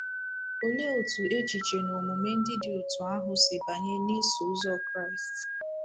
Olee otú echiche na omume ndị dị otú ahụ si banye n’Iso Ụzọ Kraịst?